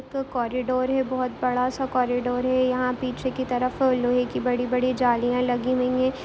एक कॉरिडोर है बहोत बड़ा-सा कॉरिडोर है। यहाँ पीछे की तरफ लोहे की बड़ी-बड़ी जालियाँ लगी हुई हैं।